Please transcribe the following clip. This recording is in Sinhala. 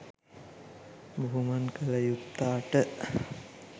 බුහුමන් කළ යුත්තාට